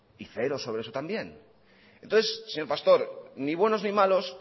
y cero sobre eso también entonces señor pastor ni buenos ni malos